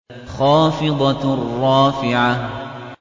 خَافِضَةٌ رَّافِعَةٌ